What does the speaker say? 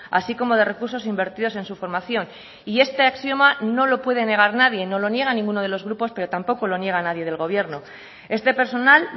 así como de recursos invertidos en su formación y este axioma no lo puede negar nadie no lo niega ninguno de los grupos pero tampoco lo niega nadie del gobierno este personal